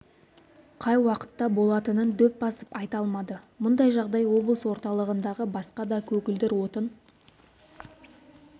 қай уақытта болатынын дөп басып айта алмады мұндай жағдай облыс орталығындағы басқа да көгілдір отын